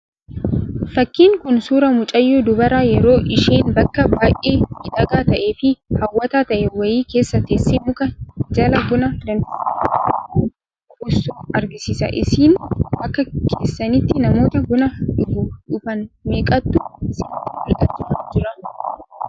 Fakkiin Kun, suuraa mucayyoo dubaraa, yeroo isheen bakka baayyee miidhagaa ta'e fi hawwataa ta'e wayii keessa teessee, muka jala buna danfiste buustu argisiisa. Isin akka keessanitti namoota buna dhuguu dhufan meeqatu isinitti mul'achaa jira?